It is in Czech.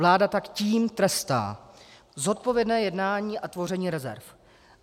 Vláda tak tím trestá zodpovědné jednání a tvoření rezerv.